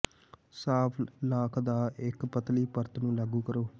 ਸਾਫ਼ ਲਾਖ ਦੀ ਇੱਕ ਪਤਲੀ ਪਰਤ ਨੂੰ ਲਾਗੂ ਕਰੋ